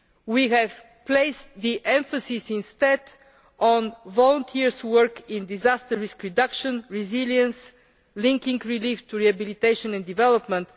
We have placed the emphasis instead on volunteer work in disaster risk reduction and resilience, linking relief to rehabilitation and development.